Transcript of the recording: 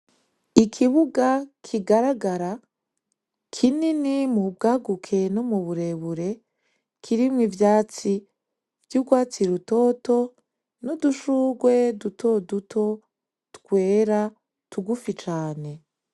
Ikibuga kigaragara kinini mu bwaguke no mu burebure kirimwo ivyatsi vy'urwatsi rutoto n'udushurwe dutoduto twera tugufi cane.